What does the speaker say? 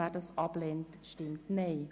Wer das ablehnt, stimmt Nein.